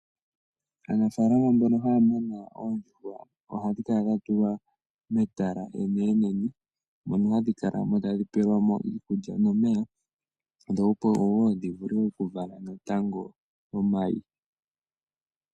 Aanafaalama mbono haya muna oondjuhwa ohadhi kala dha tulwa metala eneenene, mono hadhi kala mo tadhi pelwa mo iikulya nomeya dho opo wo dhi vule oku vala natango omayi.